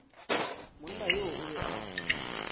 monna yoo o be a